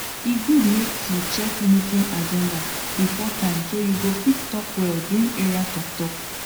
e good make you check meeting agenda before time so you fit talk well during area talktalk